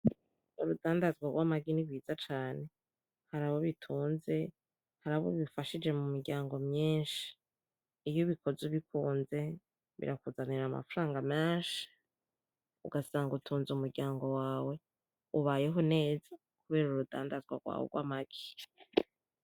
Urudandazwa rw'amagi ni rwiza cane. Hari abo bitunze, hari abo bifashije mu miryango myinshi. Iyo ubikoze ubikunze, birakuzanira amafaranga menshi ugasanga utunze umuryango wawe ubayeho neza kubera urudandazwa rwawe rw'amagi.